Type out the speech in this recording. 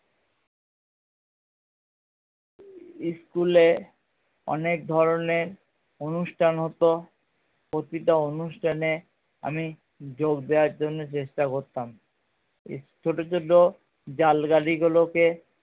school এ অনেক ধরণের অনুষ্ঠান হতো প্রতিটা অনুষ্ঠানে আমি যোগ দেওয়ার জন্যে চেষ্টা করতাম ছোটো ছোটো জাল গাড়ি গুলো কে